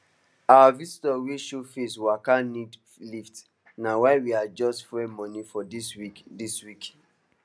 our visitor wey show face waka need lift na why we adjust fuel money for dis week dis week